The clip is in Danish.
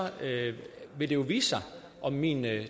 vil det jo vise sig om min